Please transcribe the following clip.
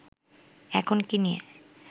এখন কী নিয়ে